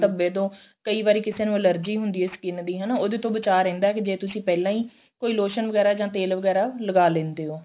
ਧੱਬੇ ਤੋਂ ਕਈ ਵਾਰੀ ਕਿਸੇ ਨੂੰ allergy ਹੁੰਦੀ ਏ skin ਦੀ ਹਨਾ ਉਹਦੇ ਤੋਂ ਬਚਾ ਰਹਿੰਦਾ ਜੇ ਤੁਸੀਂ ਪਹਿਲਾਂ ਹੀ ਕੋਈ lotion ਵਗੇਰਾ ਜਾ ਤੇਲ ਵਗੇਰਾ ਲਗਾ ਲਿੰਦੇ ਓ